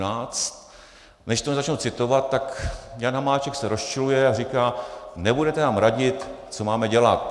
Než to začnu citovat, tak Jan Hamáček se rozčiluje a říká: "Nebudete nám radit, co máme dělat."